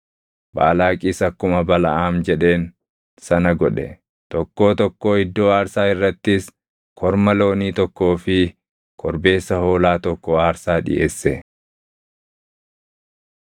Baalaaqis akkuma Balaʼaam jedheen sana godhe; tokkoo tokkoo iddoo aarsaa irrattis korma loonii tokkoo fi korbeessa hoolaa tokko aarsaa dhiʼeesse.